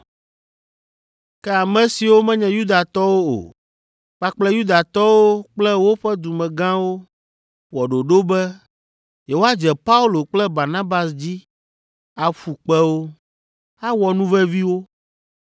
Ke ame siwo menye Yudatɔwo o, kpakple Yudatɔwo kple woƒe dumegãwo wɔ ɖoɖo be yewoadze Paulo kple Barnabas dzi aƒu kpe wo, awɔ nu vevi wo.